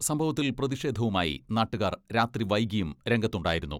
സംഭവത്തിൽ പ്രതിഷേധവുമായി നാട്ടുകാർ രാത്രി വൈകിയും രംഗത്തുണ്ടായിരുന്നു.